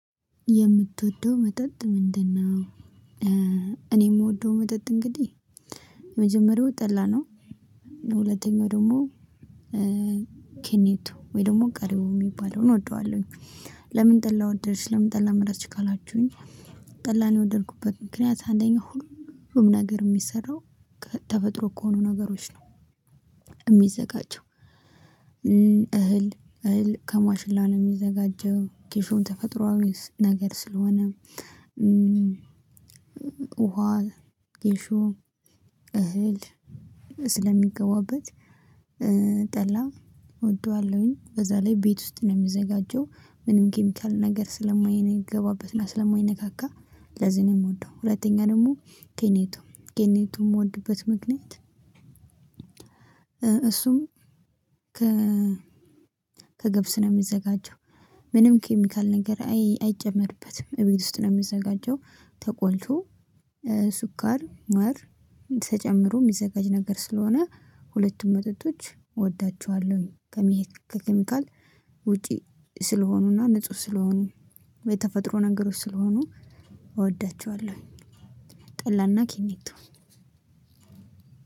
የምትወደው መጠጥ ምንድነው? እኔ የምወደው መጠጥ እንግዲህ የመጀመሪያው ጠላ ነው። በሁለተኛው ደግሞ ኬኔቶ ወይ ደግሞ ቀሪው የሚባለውን እወደዋለሁኝ። ለምን ጠላህ ወደድሽ ለምን ጠላህ መረጥሽ ካላችሁኝ? ጠላን የወደድኩበት ምክንያት አንደኛው ሁሉም ነገር የሚሰራው ከተፈጥሮ ከሆኑ ነገሮች ነው። የሚዘጋጀው እህል እህል ከማሽላ ነው የሚዘጋጀው ጌሾን ተፈጥሮአዊ ነገር ስለሆነ። ውሃ ጌሾ እህል ስለሚገባበት ጠላ እወደዋለሁኝ። በዛ ላይ ቤት ውስጥ ነው የምዘጋጀው ምንም ኬሚካል ነገር ስለማየንገባበት እና ስለማይነካካ ለዚህ ነው የምወደው። ሁለተኛ ደግሞ ኬኔቶ ኬኔቶ የምወድበት ምክንያት። እሱም ከ ከገብስ ነው የሚዘጋጀው። ምንም ኬሚካል ነገር አይጨመርበትም። እቤት ውስጥ ነው የሚዘጋጀው ተቆልቶ ሱኳር ማር ተጨምሮ የሚዘጋጅ ነገር ስለሆነ ሁለቱም መጠጦች እወዳቸዋለሁኝ። ከሚካል ውጪ ስለሆኑና ንጹህ ስለሆኑ የተፈጥሮ ነገሮች ስለሆኑ እወዳቸዋለሁ። ጠላና ኪኒቶ